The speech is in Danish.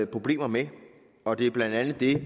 problemer med og det er blandt andet det